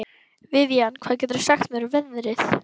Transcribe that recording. Vivian, hvað geturðu sagt mér um veðrið?